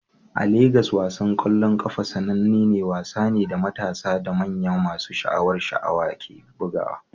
A Legas, wasan ƙwallon ƙafa sanannen wasa ne da matasa da manya masu sha'awar sha'awa ke bugawa.